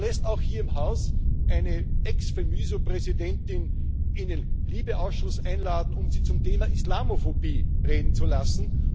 Und man lädt auch hier im Haus eine Ex FEMYSO Präsidentin in den LIBE Ausschuss ein, um sie zum Thema Islamophobie reden zu lassen.